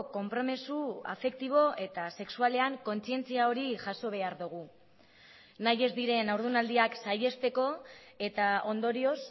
konpromiso afektibo eta sexualean kontzientzia hori jaso behar dugu nahi ez diren haurdunaldiak saihesteko eta ondorioz